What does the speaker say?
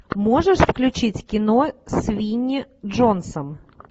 можешь включить кино с винни джонсом